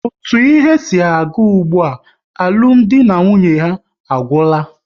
Otu ihe si aga ụgbụa, alụmdi na nwunye ha agwụla